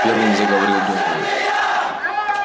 первым заговорил донован